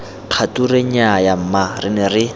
kgature nnyaya mma re ne